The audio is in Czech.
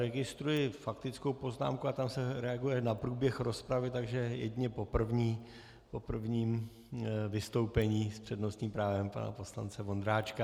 Registruji faktickou poznámku, a tam se reaguje na průběh rozpravy, takže jedině po prvním vystoupení s přednostním právem pana poslance Vondráčka.